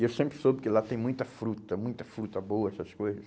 E eu sempre soube que lá tem muita fruta, muita fruta boa, essas coisas.